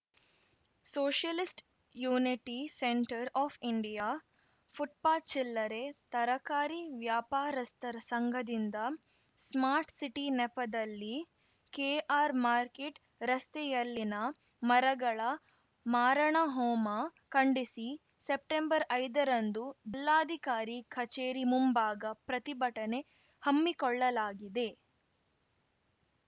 socialist unity centre of India footpath ಚಿಲ್ಲರೆ ತರಕಾರಿ ವ್ಯಾಪಾರಸ್ಥರ ಸಂಘದಿಂದ ಸ್ಮಾರ್ಟ್‌ ಸಿಟಿ ನೆಪದಲ್ಲಿ ಕೆಆರ್‌ಮಾರ್ಕೆಟ್‌ ರಸ್ತೆಯಲ್ಲಿನ ಮರಗಳ ಮಾರಣ ಹೋಮ ಖಂಡಿಸಿ ಸೆಪ್ಟೆಂಬರ್ಐದರಂದು ಜಿಲ್ಲಾಧಿಕಾರಿ ಕಚೇರಿ ಮುಂಭಾಗ ಪ್ರತಿಭಟನೆ ಹಮ್ಮಿಕೊಳ್ಳಲಾಗಿದೆ